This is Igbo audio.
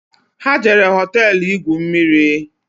Ha jere hoteelu igwu mmiri